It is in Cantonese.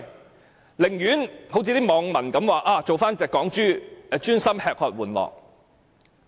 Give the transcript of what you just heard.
他們寧願做網民所說的"港豬"，專心吃喝玩樂。